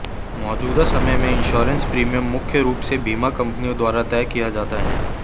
मौजूदा समय में इंश्योरेंस प्रीमियम मुख्य रूप से बीमा कंपनियों द्वारा तय किए जाते हैं